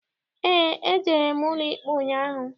Eé, ejere m n'ụlọikpe ụnyaahụ.